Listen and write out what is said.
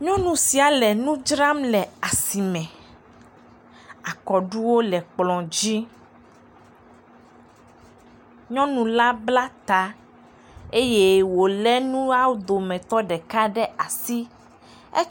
Nyɔnu sia le nu dzram le asime, akɔɖuwo le kplɔ dzi, nyɔnu la bla ta eye wòlé nuawo dometɔ ɖeka ɖe asi, et…